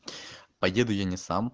поеду я не сам